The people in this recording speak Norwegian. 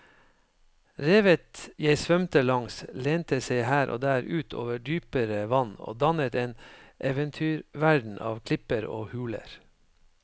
Revet jeg svømte langs lente seg her og der ut over dypere vann og dannet en eventyrverden av klipper og huler.